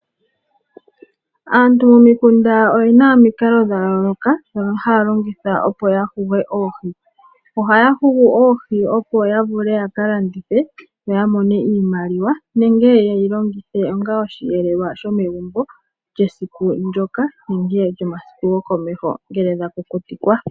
Aantu momikunda oye na omikalo dha yooloka ndhono haya longitha opo ya huge oohi. Ohaya hugu oohi opo ya vule ya ka landithe noya mone iimaliwa nenge ye dhi longithe onga osheelelwa shomegumbo lyesiku ndyoka nenge lyomasiku gokomeho ngele dha kukutikwa.